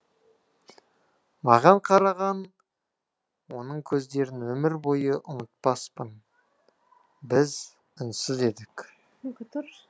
маған қараған оның көздерін өмір бойы ұмытпаспын біз үнсіз едік